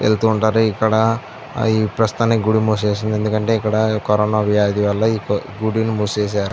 వెళ్తుంటారు ఇక్కడ ప్రస్తుతానికి గుడి మూసేసారు. ఎందుకంటె కరోనా వ్యాధి వళ్ళ ఈ గుడి మూసేసారు.